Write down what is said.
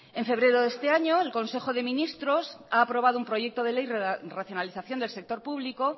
en febrero de este año el consejo de ministros ha aprobado un proyecto de ley racionalización del sector público